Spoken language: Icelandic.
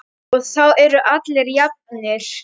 Og þá eru allir jafnir.